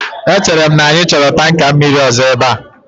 Echere m na anyị chọrọ tanka mmiri ọzọ ebe a